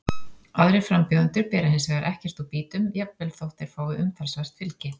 Aðrir frambjóðendur bera hins vegar ekkert úr býtum, jafnvel þótt þeir fái umtalsvert fylgi.